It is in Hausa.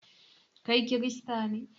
Kai kirista ne?